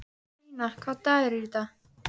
Stína, hvaða dagur er í dag?